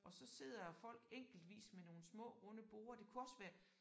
Og så sidder folk enkeltvis med nogle små runde borde. Det kunne også være